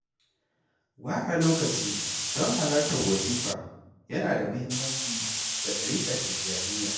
Ware lokaci don halartar wazifa yana da muhimmanci ga ɗariƙar Tijjaniya.